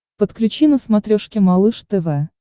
подключи на смотрешке малыш тв